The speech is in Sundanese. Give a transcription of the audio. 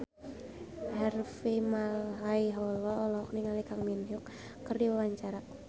Harvey Malaiholo olohok ningali Kang Min Hyuk keur diwawancara